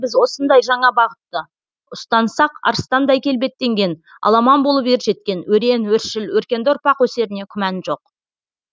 біз осындай жаңа бағытты ұстансақ арыстандай келбеттенген аламан болып ер жеткен өрен өршіл өркенді ұрпақ өсеріне күмән жоқ